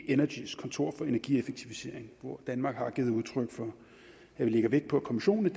energis kontor for energieffektivisering hvor danmark har givet udtryk for at vi lægger vægt på at kommissionen i